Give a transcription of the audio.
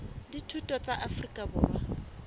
la dithuto la afrika borwa